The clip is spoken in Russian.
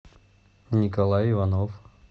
николай иванов